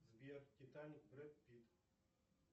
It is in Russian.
сбер титаник брэд питт